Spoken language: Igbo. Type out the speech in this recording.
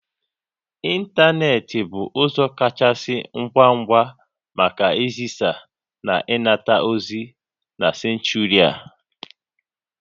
Ịntanetị bụ ụzọ kachasị ngwa ngwa maka izisa na ịnata ozi na senchuri a